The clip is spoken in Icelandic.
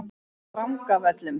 Drangavöllum